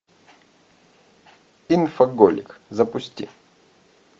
инфоголик запусти